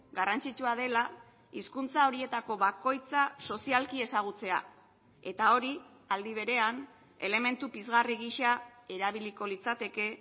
garrantzitsua dela hizkuntza horietako bakoitza sozialki ezagutzea eta hori aldi berean elementu pizgarri gisa erabiliko litzateke